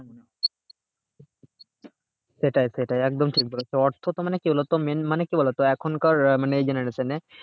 সেটাই সেটাই একদম ঠিক বলেছো অর্থ তো মানে কি বলতো main মানে কি বলতো এখনকার মানে এই generation এ